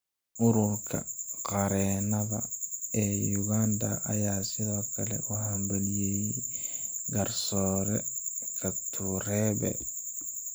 Ururka qareenada ee Uganda ayaa sidoo kale u hambalyeeyay garsoore Katureebe.